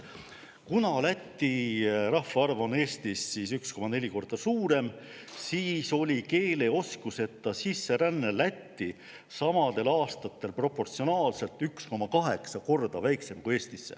Kuna Läti rahvaarv on Eesti omast 1,4 korda suurem, siis oli keeleoskuseta sisseränne Lätti samadel aastatel proportsionaalselt 1,8 korda väiksem kui Eestisse.